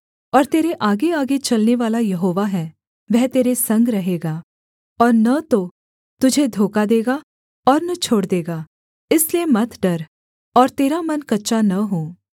और तेरे आगेआगे चलनेवाला यहोवा है वह तेरे संग रहेगा और न तो तुझे धोखा देगा और न छोड़ देगा इसलिए मत डर और तेरा मन कच्चा न हो